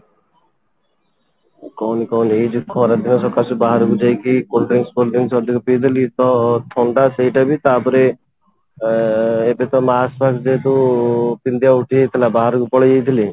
କହନି କହନି ଏଇ ଯୋଉ ଖରାଦିନ ସକାଶେ ଯୋଉ ବାହାରେ ଯାଇକି cold drinks ଅଧିକ ପି ଦେଲି ତ ଥଣ୍ଡା ସେଇଟା ବି ତାପରେ ଏଁ ଏବେ ତ mask ଯେହେତୁ ପିନ୍ଧିବା ଉଠି ଯାଇଥିଲା ବାହାରକୁ ପଳେଇଯାଇଥିଲି